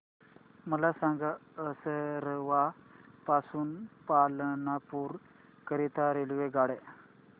मला सांगा असरवा पासून पालनपुर करीता रेल्वेगाड्या